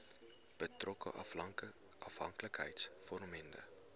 betrokke afhanklikheids vormende